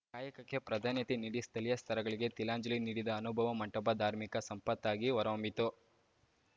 ಕಾಯಕಕ್ಕೆ ಪ್ರಾಧಾನ್ಯತೆ ನೀಡಿ ಸ್ಥಳೀಯ ಸ್ಥರಗಳಿಗೆ ತಿಲಾಂಜಲಿ ನೀಡಿದ ಅನುಭವ ಮಂಟಪ ಧಾರ್ಮಿಕ ಸಂಪತ್ತಾಗಿ ಹೊರಹೊಮ್ಮಿತು